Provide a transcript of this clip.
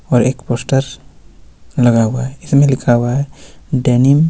और एक पोस्टर लगा हुआ है इसमें लिखा हुआ है डेनिम --